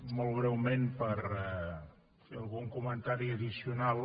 molt breument per fer algun comentari addicional